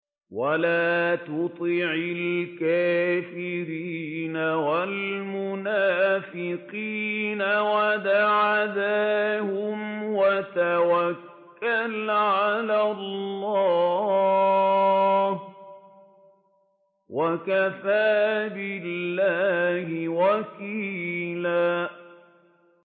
وَلَا تُطِعِ الْكَافِرِينَ وَالْمُنَافِقِينَ وَدَعْ أَذَاهُمْ وَتَوَكَّلْ عَلَى اللَّهِ ۚ وَكَفَىٰ بِاللَّهِ وَكِيلًا